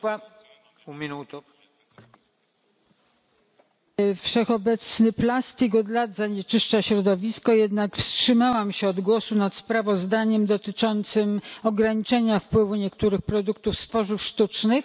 Panie Przewodniczący! Wszechobecny plastik od lat zanieczyszcza środowisko, jednak wstrzymałam się od głosu nad sprawozdaniem dotyczącym ograniczenia wpływu niektórych produktów z tworzyw sztucznych.